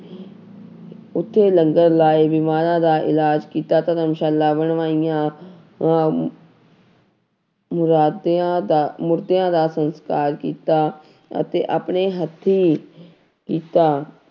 ਉੱਥੇ ਲੰਗਰ ਲਾਏ, ਬਿਮਾਰਾਂ ਦਾ ਇਲਾਜ਼ ਕੀਤਾ ਧਰਮਸ਼ਾਲਾ ਬਣਵਾਈਆਂ ਆਂ ਮੁਰਾਦਿਆਂ ਦਾ ਮੁਰਦਿਆਂ ਦਾ ਸੰਸਕਾਰ ਕੀਤਾ ਅਤੇ ਆਪਣੇ ਹੱਥੀਂ ਕੀਤਾ।